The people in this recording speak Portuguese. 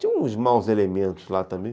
Tinha uns maus elementos lá também.